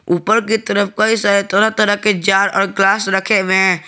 ऊपर की तरफ कई सारे तरह तरह के जार और ग्लास रखे हुए हैं।